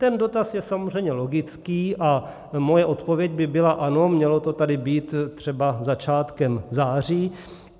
Ten dotaz je samozřejmě logický a moje odpověď by byla ano, mělo to tady být třeba začátkem září.